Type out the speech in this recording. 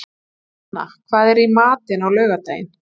Inna, hvað er í matinn á laugardaginn?